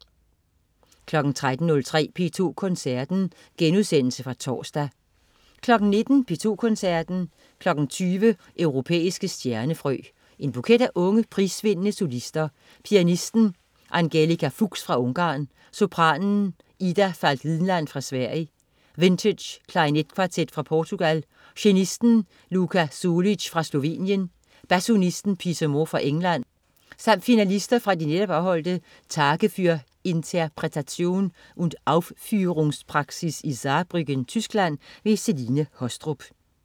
13.03 P2 Koncerten. Genudsendelse fra torsdag 19.00 P2 Koncerten. 20.00 Europæiske stjernefrø. En buket af unge, prisvindende solister: Pianisten Angelika Fuchs fra Ungarn, sopranen Ida Falk Winland fra Sverige, Vintage klarinetkvartet fra Portugal, cellisten Luka Sulic fra Slovenien, basunisten Peter Moore fra England samt finalister fra de netop afholdte Tage für Interpretation und Aufführungspraxis i Saarbrücken, Tyskland. Celine Haastrup